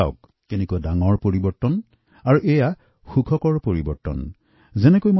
লক্ষ্য কৰকচোন কিমান ডাঙৰ পৰিৱৰ্তন আহিছে এই পৰিৱৰ্তন সঁচাই সুখৰ